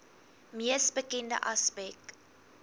mees bekende aspek